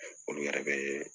Olu yɛrɛ be